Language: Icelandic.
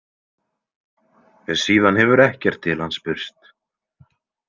Síðan hefur ekkert til hans spurst.